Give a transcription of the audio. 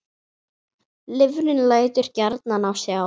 Lifrin lætur gjarnan á sjá.